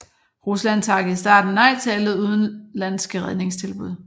Rusland takkede i starten nej til alle udenlandske redningstilbud